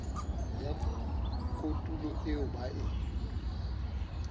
ya kotulo eo ba e